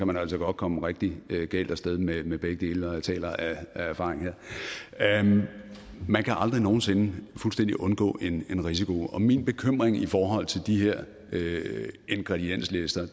man altså godt komme rigtig galt af sted med med begge dele og jeg taler her af erfaring man kan aldrig nogen sinde fuldstændig undgå en risiko min bekymring i forhold til de her ingredienslister